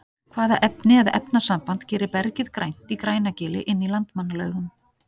Hvaða efni eða efnasamband gerir bergið grænt í Grænagili inn í Landmannalaugum?